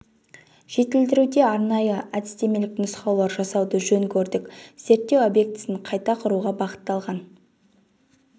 жетілдіруде арнайы әдістемелік нұсқаулар жасауды жөн көрдік зерттеу объектісін қайта құруға бағытталған